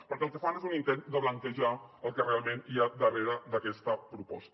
perquè el que fan és un intent de blanquejar el que realment hi ha darrere d’aquesta proposta